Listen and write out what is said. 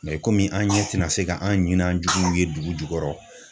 kɔmi an ɲɛ tina se ka an ɲi n'an juguw ye dugu jukɔrɔ